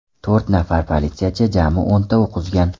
To‘rt nafar politsiyachi jami o‘nta o‘q uzgan.